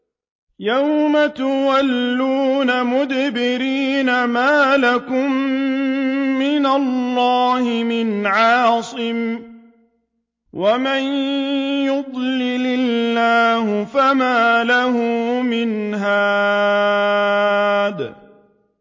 يَوْمَ تُوَلُّونَ مُدْبِرِينَ مَا لَكُم مِّنَ اللَّهِ مِنْ عَاصِمٍ ۗ وَمَن يُضْلِلِ اللَّهُ فَمَا لَهُ مِنْ هَادٍ